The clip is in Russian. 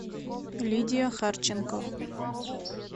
лидия харченко